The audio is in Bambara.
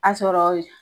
A sɔrɔ